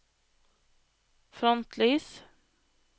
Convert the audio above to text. frontlys